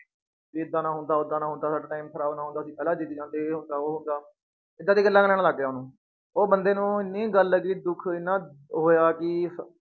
ਵੀ ਏਦਾਂ ਨਾ ਹੁੰਦਾ, ਓਦਾਂ ਨਾ ਹੁੰਦਾ ਸਾਡਾ time ਖ਼ਰਾਬ ਨਾ ਹੁੰਦਾ, ਅਸੀਂ ਪਹਿਲਾਂ ਜਿੱਤ ਜਾਂਦੇ, ਇਹ ਹੁੰਦਾ ਉਹ ਹੁੰਦਾ, ਏਦਾਂ ਦੀਆਂ ਗੱਲਾਂ ਕਰਨ ਲੱਗ ਗਿਆ ਉਹ, ਉਹ ਬੰਦੇ ਨੂੰ ਇੰਨੀ ਗੱਲ ਦੁੱਖ ਇੰਨਾ ਹੋਇਆ ਕਿ